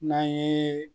N'an ye